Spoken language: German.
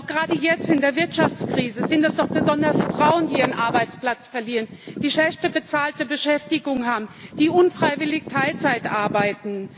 Gerade jetzt in der Wirtschaftskrise sind es doch besonders Frauen, die ihren Arbeitsplatz verlieren, die eine schlechter bezahlte Beschäftigung haben, die unfreiwillig Teilzeit arbeiten.